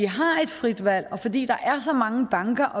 har et frit valg og fordi der er så mange banker